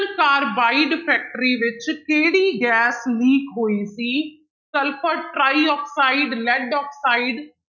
carbide factory ਵਿੱਚ ਕਿਹੜੀ gas leak ਹੋਈ ਸੀ ਸਲਫ਼ਰ ਟਰਾਇਆਕਸਾਇਡ, ਲੈਡ ਆਕਸਾਇਡ